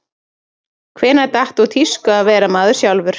Hvenær datt úr tísku að vera maður sjálfur?